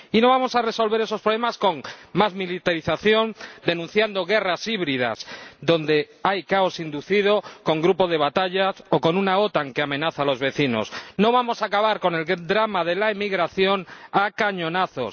Y no vamos a resolver esos problemas con más militarización, denunciando guerras híbridas donde hay caos inducido, con grupo de batalla o con una OTAN que amenaza a los vecinos. No vamos a acabar con el drama de la emigración a cañonazos.